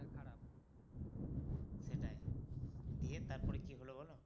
সেটাই দিয়ে তারপরে কী হলো বলো